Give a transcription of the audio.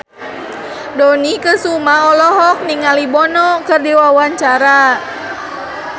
Dony Kesuma olohok ningali Bono keur diwawancara